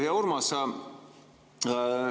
Hea Urmas!